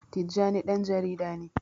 Tijjani ɗan jarida ne.